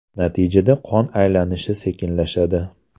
Natijada qon aylanishi sekinlashadi.